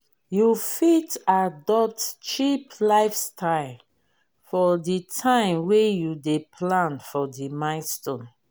you fit adopt cheap lifestyle for di time wey you dey plan for di milestone